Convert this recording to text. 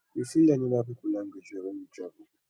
we fit learn oda pipo language well when we travel